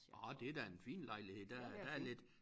Nåh det da en fin lejlighed der er der er lidt